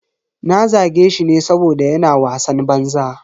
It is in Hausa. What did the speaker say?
Na zage shi ne saboda yana wasan banza.